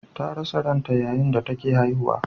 Ta rasa ranta yayin da take haihuwa.